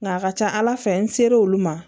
Nka a ka ca ala fɛ n ser'olu ma